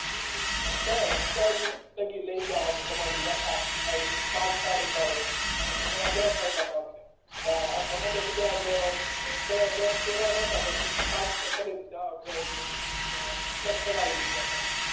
ઈ ઇ સ્તર સ્તર થકી લઈ જવાનું તમારી યાથા એ પાર્ટ પાડી પાડી એટલે એવા દશ આપ્યા તા એટલે કોઈ એ દશ કર્યા નતા પણ બધાય એ પાંચ છ કરી ને આમ અ ચેક કરાવી દીધા હતા